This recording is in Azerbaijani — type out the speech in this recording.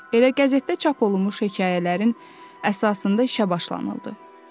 Elə qəzetdə çap olunmuş hekayələrin əsasında işə başlanıldı.